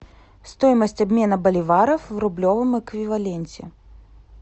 стоимость обмена боливаров в рублевом эквиваленте